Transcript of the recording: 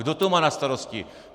Kdo to má na starosti?